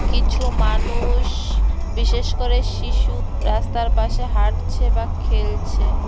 কিছু মানুষ বিশেষ করে শিশু রাস্তার পাশে হাঁটছে বা খেলছে।